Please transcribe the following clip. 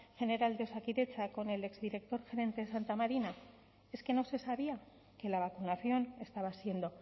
general de osakidetza con el exdirector gerente de santa marina es que no se sabía que la vacunación estaba siendo